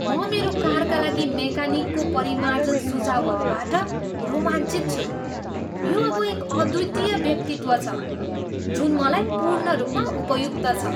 म मेरो कारका लागि मेकानिकको परिमार्जन सुझाउहरूबाट रोमाञ्चित छु। यो अब एक अद्वितीय व्यक्तित्व छ जुन मलाई पूर्ण रूपमा उपयुक्त छ।